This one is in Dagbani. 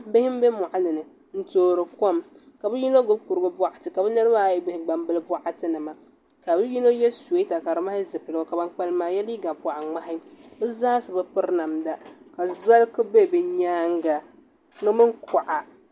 Bihi n bɛ moɣali ni n toori kom ka bi yino gbubi kurigu boɣati ka bi niraba ayi gbubi gbambili boɣati nima ka bi yino yɛ suyeeta ka di mali zipiligu ka ban kpalim maa yɛ liiga boɣa ŋmahi bi zaa so bi piri namda ka zoli ku bɛ bi nyaanga di mini kuɣa